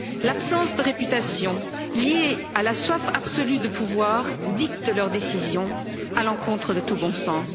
L'absence de réputation, liée à la soif absolue de pouvoir, dicte leurs décisions à l'encontre de tout bon sens.